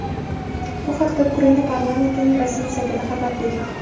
Bu haqda Ukraina parlamentining rasmiy saytida xabar berilgan .